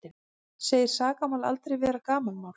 Segir sakamál aldrei vera gamanmál